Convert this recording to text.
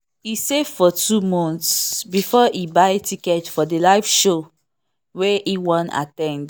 e save for two months before e buy ticket for the live show wey e wan at ten d.